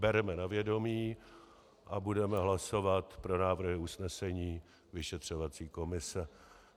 Bereme ji na vědomí a budeme hlasovat pro návrhy usnesení vyšetřovací komise.